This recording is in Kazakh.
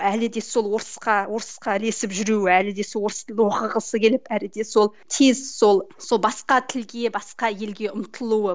әлі де сол орысқа орысқа ілесіп жүруі әлі де сол орыс тілді оқығысы келіп әлі де сол тез сол сол басқа тілге басқа елге ұмтылуы